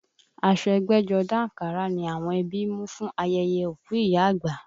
Aṣọ ẹgbẹ́jọdá àǹkárá ni àwọn ẹbí mú fún ayẹyẹ òkú ìyá àgbà